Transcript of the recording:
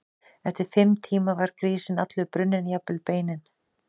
Eftir fimm tíma var grísinn allur brunninn, jafnvel beinin.